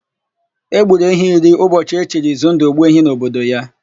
E gburu ehi iri ụbọchị e chiri Izundụ, Ogbuehi n'obodo ya.